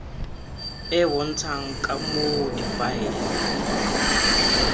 e bontshang ka moo difaele